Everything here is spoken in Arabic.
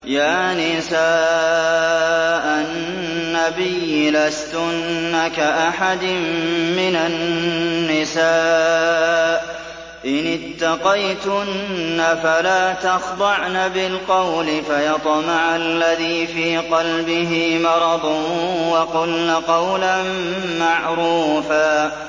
يَا نِسَاءَ النَّبِيِّ لَسْتُنَّ كَأَحَدٍ مِّنَ النِّسَاءِ ۚ إِنِ اتَّقَيْتُنَّ فَلَا تَخْضَعْنَ بِالْقَوْلِ فَيَطْمَعَ الَّذِي فِي قَلْبِهِ مَرَضٌ وَقُلْنَ قَوْلًا مَّعْرُوفًا